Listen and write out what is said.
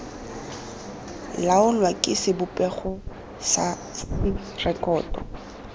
laolwa ke sebopego se rekoto